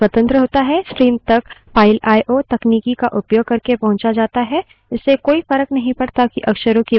इससे कोई फर्क नहीं पड़ता कि अक्षरों की वास्तविक stream file से आती है या file में जाती है या keyboard window आदि से आती है